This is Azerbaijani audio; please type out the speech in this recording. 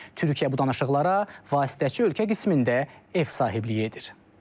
Türkiyə bu danışıqlara vasitəçi ölkə qismində ev sahibliyi edir.